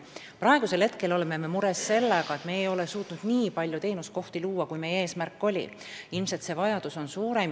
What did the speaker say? Praegu on meil mure sellega, et me ei ole suutnud luua nii palju teenuskohti, kui meil eesmärgiks oli – ilmselt on vajadus suurem.